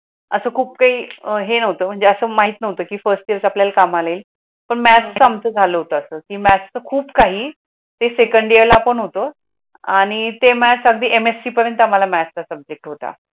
अस खूप काही काही नव्हतं म्हणजे असं माहित नव्हतं की फर्स्ट आपल्याला कामाला आमचं झालं होतं की मायट्स खूप काही ते सेकंड इयरला पण होतो आणि ते त MSC पर्यंत आम्हाला तचा सब्जेक्ट होता.